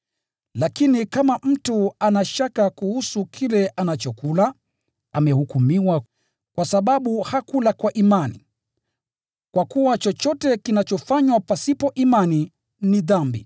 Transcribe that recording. Lakini kama mtu ana shaka kuhusu kile anachokula, amehukumiwa, kwa sababu hakula kwa imani. Kwa kuwa chochote kinachofanywa pasipo imani ni dhambi.